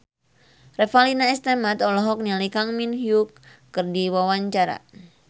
Revalina S. Temat olohok ningali Kang Min Hyuk keur diwawancara